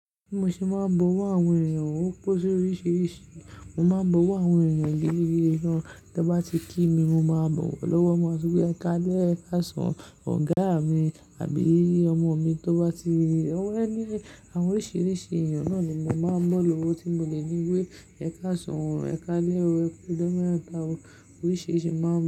Bi mo ṣe máa ń bọwọ́ àwọn èeyàn, ó pin soríṣìíríṣìí. Mo máa ń bọwọ́ àwọn èeyàn gidgidi gán tan bá ti kí mi, mo máa bọ̀wọ̀ lọ́wọ́ mọ́, sọ pé "Ẹ káalé, ẹkásan," ọ̀gá mi àbí ọmọ mi tó bá ti or any, àwọn oríṣìíríṣìí èeyàn náà ni mo máa ń bọ̀ lọ́wọ́ tí mo lè ní wí Ẹkásan, Ẹkaálé o, Ẹkú ijọ metá o." Oríṣìíríṣìí máa ń.